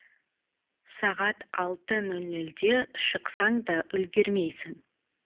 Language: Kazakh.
сағат алты нөл нөлде шықсаң да үлгермейсің